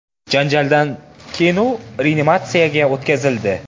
Janjaldan keyin u reanimatsiyaga o‘tkazildi.